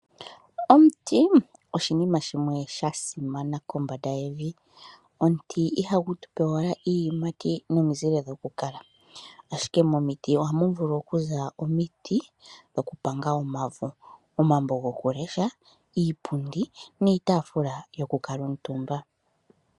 Omuti oshinima shimwe shasimana kombanda yevi. Omuti ihagu tupe owala iiyimati nomizile dhokukala ashike momiti ohamu vulu okuza omiti dhokupanga omavo, omambo gokulesha, iipundi niitaafula yokukala omutumba.